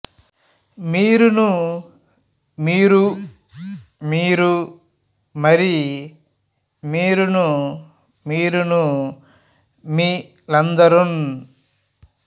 మీరును మీరు మీరు మరి మీరును మీరును మీర లందరున్